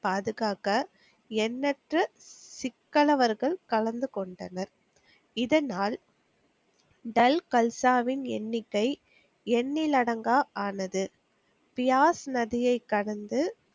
பாதுகாக்க எண்ணெற்ற சிக்கலவர்கள் கலந்து கொண்டனர். இதனால் தல்கல்சாவின் எண்ணிக்கை எண்ணிலடங்கா ஆனது. பியாஸ் நதியை கடந்து,